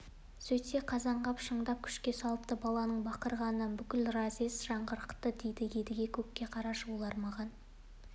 сөйтсе қазанғап шындап күшке салыпты баланың бақырғанынан бүкіл разъезд жаңғырықты дейді едіге көке қарашы олар маған